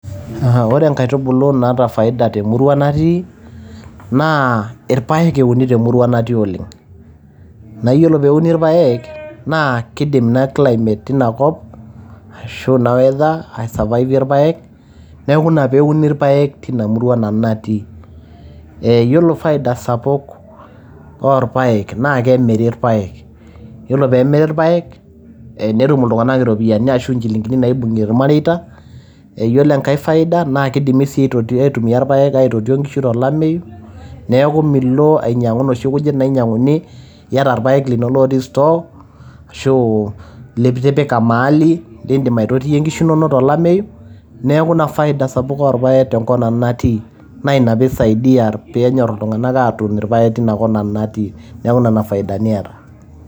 Ore nkaitubulu naata faida te murua natii, naa irpaek euni te murua nanu natii oleng. Naa yiolo pee euni irpaek naa kidim ina climate ina kop ashu ina weather ai survive ie rpaek. Niaku ina pee euni irpaek tina murua nanu natii. Yiolo faida sapuk oo ilpaek naa kemiri irpaek. Yiolo pee emiri irpaek netum iltung`anak irropiyiani ashu inchilingini naibung`ie ilmareita. Yiolo enkae faida naa kidimi sii aitumia ilpaek aitotie nkishu to lameyu. Niaku milo ainyiang`u inoshi kujit naijiang`uni iyata ilpaek linonok otii store ashu litipaka mahali lidim aitotie nkishu inonok to lameyu. Niaku ina faida sapuk oo ilpaek tenkop nanu natii. Naa ina pee isaidia pe enyor iltung`anak atuun ilpaek teina kop nanu natii, niaku nena faidani eeta.